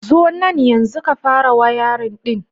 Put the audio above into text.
Zo nan yanzu ka fara wayarin ɗin.